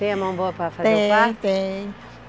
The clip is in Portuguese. Tem a mão boa para fazer o parto? Tenho, tenho